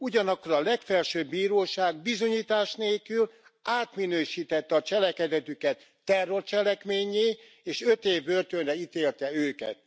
Ugyanakkor a legfelsőbb bíróság bizonyítás nélkül átminősítette a cselekedetüket terrorcselekménnyé, és öt év börtönre ítélte őket.